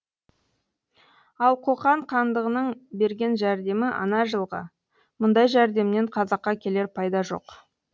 ал қоқан хандығының берген жәрдемі ана жыл ғы мұндай жәрдемнен қазаққа келер пайда жоқ